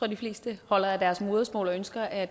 de fleste holder af deres modersmål og ønsker at